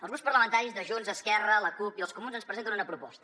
els grups parlamentaris de junts esquerra la cup i els comuns ens presenten una proposta